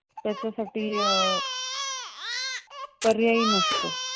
पर्यायी नसतो.